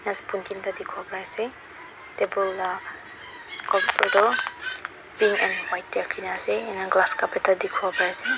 spoon tinta dekho parise table la cover toh pink and white te rakhina ase enehoine glass cup ekta dekhiwo paise.